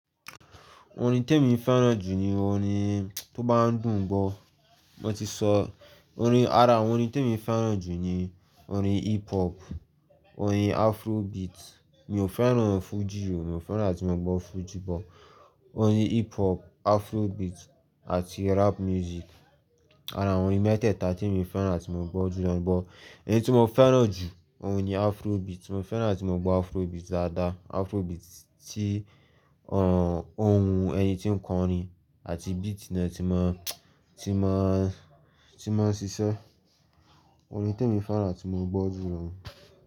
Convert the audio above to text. Orin tí èmi fẹ́ràn jù ni orin tó bá ń dùn gbọ́. Mo ti sọ orin, ara orin tí èmi fẹ́ràn jù ni orin hip hop, orin afrobeat. Mi ò fẹ́ràn orin Fuji o, mi ò fẹ́ràn láti máa gbọ́ Fuji, but orin hip hop, afrobeat àti rap music ara orin mẹ́tẹ̀ẹ̀ta tí èmi fẹ́ràn láti máa gbọ́ jù lánàá, but èyí tí mo fẹ́ràn jù òun ni afrobeat. Mo fẹ́ràn láti máa gbọ́ afrobeat dáadáa, afrobeat tí òhún ohùn ẹni tí ń kọrin àti beat náà ti máa, ti máa, ti máa ṣiṣẹ́. Orin tí èmi fẹ́ràn láti máa gbọ́ jù nu.